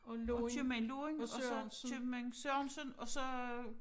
Og købmand Lund og så købmand Sørensen og så